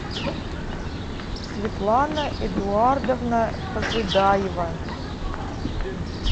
светлана эдуардовна пожидаева